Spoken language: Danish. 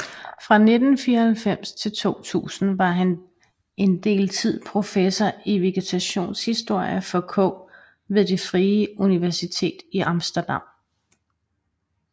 Fra 1994 til 2000 var han en del tid professor i vegetationshistorie for k ved Det Frie Universitet i Amsterdam